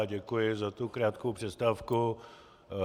Já děkuji za tu krátkou přestávku.